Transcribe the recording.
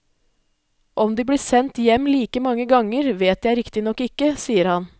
Om de ble sendt hjem like mange ganger, vet jeg riktignok ikke, sier han.